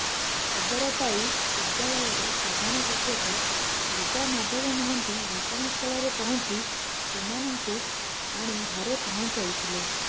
ଖବରପାଇ ବିଦ୍ୟାଳୟର ପ୍ରଧାନ ଶିକ୍ଷକ ଦୁର୍ଗାମାଧବ ମହାନ୍ତି ଘଟଣାସ୍ଥଳରେ ପହଞ୍ଚି ରୁମାନଙ୍କୁ ଆଣି ଘରେ ପହଞ୍ଚାଇଥିଲେ